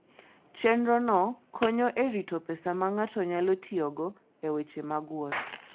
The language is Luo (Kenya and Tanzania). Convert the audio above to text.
Chenrono konyo e rito pesa ma ng'ato nyalo tiyogo e weche mag wuoth.